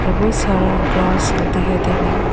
बहुत सारा ग्रास दिखाई दे रहे हैं।